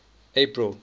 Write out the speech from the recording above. april